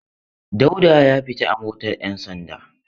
Dauda ya fita a motar 'yansanda.